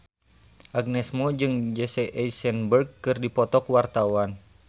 Agnes Mo jeung Jesse Eisenberg keur dipoto ku wartawan